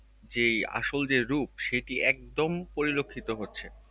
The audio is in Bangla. যে আসল যেরূপ সেটি একদম পরিলক্ষিত হচ্ছে।